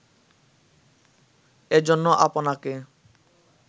এজন্য আপনাকে